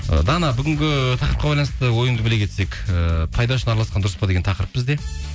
ы дана бүгінгі тақырыпқа байланысты ойыңды біле кетсек ііі пайдасы үшін араласқан дұрыс па деген тақырып бізде